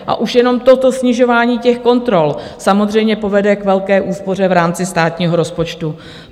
A už jenom toto snižování těch kontrol samozřejmě povede k velké úspoře v rámci státního rozpočtu.